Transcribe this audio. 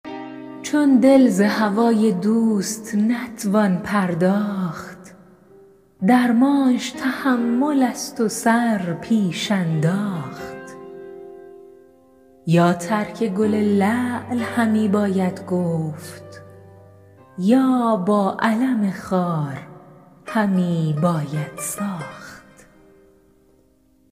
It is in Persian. چون دل ز هوای دوست نتوان پرداخت درمانش تحمل است و سر پیش انداخت یا ترک گل لعل همی باید گفت یا با الم خار همی باید ساخت